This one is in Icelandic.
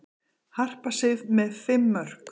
Harpa Sif með fimm mörk